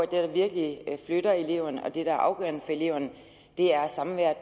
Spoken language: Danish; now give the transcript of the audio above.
der virkelig flytter eleverne og det der er afgørende for eleverne er samværet